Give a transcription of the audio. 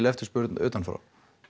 eftirspurn utan frá